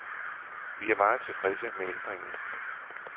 Vi er meget tilfredse med ændringen.